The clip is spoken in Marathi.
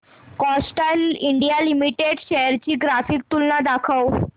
कॅस्ट्रॉल इंडिया लिमिटेड शेअर्स ची ग्राफिकल तुलना दाखव